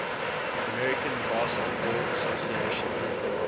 american basketball association